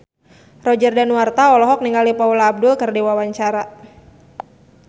Roger Danuarta olohok ningali Paula Abdul keur diwawancara